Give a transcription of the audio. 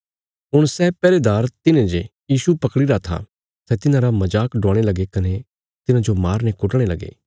हुण सै पैहरेदार तिन्हे जे यीशु पकड़ीरा था सै तिन्हारा मजाक डुआणे लगे कने तिन्हाजो मारने कुटणे लगे